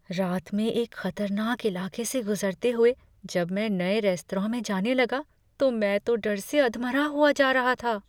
रात में एक ख़तरनाक इलाके से गुज़रते हुए जब मैं नए रेस्तरां में जाने लगा तो मैं तो डर से अधमरा हुआ जा रहा था।